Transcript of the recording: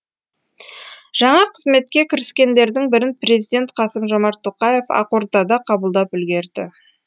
жаңа қызметке кіріскендердің бірін президент қасым жомарт тоқаев ақордада қабылдап үлгерді